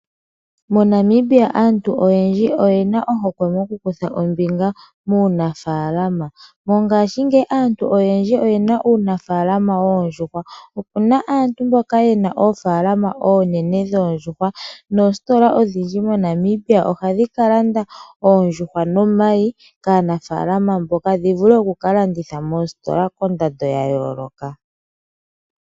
MoNamibia aantu oyendji oyena ohokwe mokukutha ombinga muunafaalama. Mongashingeyi aantu oyendji oye na uunafaalama woondjuhwa. Opuna aantu mboka yena oofaalama oonene dhoondjuhwa. Noositola odhindji ohadhi ka landa oondjuhwa nomayi kaanafaalama mboka dhi vule okukalanditha moositola koondando dha yooloka.